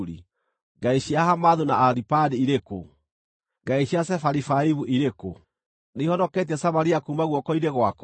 Ngai cia Hamathu na Aripadi irĩ kũ? Ngai cia Sefarivaimu irĩ kũ? Nĩihonoketie Samaria kuuma guoko-inĩ gwakwa?